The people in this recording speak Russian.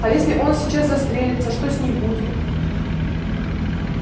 а если он сейчас застрелится что с ней будет